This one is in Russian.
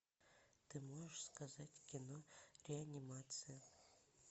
ты можешь сказать кино реанимация